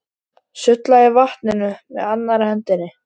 Sullaði í vatninu með annarri hendi.